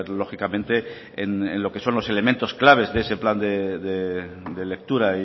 lógicamente en lo que son los elementos claves de ese plan de lectura